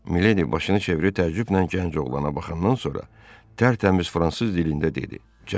Miledi başını çevirib təəccüblə gənc oğlana baxandan sonra tərtəmiz fransız dilində dedi: